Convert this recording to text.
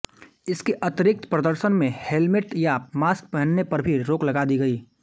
इसके अतिरिक्त प्रदर्शन में हेलमेट या मास्क पहनने पर भी रोक लगा दी गई